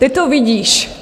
Ty to vidíš.